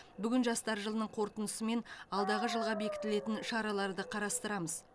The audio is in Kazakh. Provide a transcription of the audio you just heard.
бүгін жастар жылының қорытындысы мен алдағы жылға бекітілетін шараларды қарастырамыз